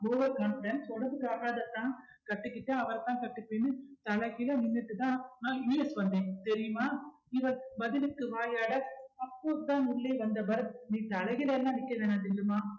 over confidence உடம்புக்கு ஆகாது அத்தான் கட்டிக்கிட்டா அவரதான் கட்டிக்கணும்னு தலைகீழா நின்னுட்டுதான் நான் US வந்தேன் தெரியுமா இவள் பதிலுக்கு வாயாட அப்போதான் உள்ளே வந்த பரத் நீ தலைகீழாலா நிக்க வேண்டா ஜில்லுமா